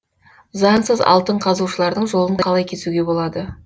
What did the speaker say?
заңсыз алтын қазушылардың жолын қалай кесуге болады